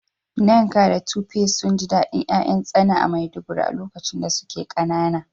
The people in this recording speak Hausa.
Nneka da Tope sun ji dadin ’ya’yan tsana a Maiduguri a lokacin da suke kanana.